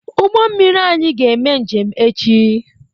Ụgbọ mmiri anyị ga-eme njem echi.